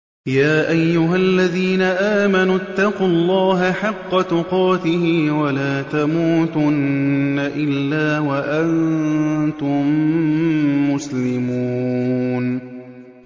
يَا أَيُّهَا الَّذِينَ آمَنُوا اتَّقُوا اللَّهَ حَقَّ تُقَاتِهِ وَلَا تَمُوتُنَّ إِلَّا وَأَنتُم مُّسْلِمُونَ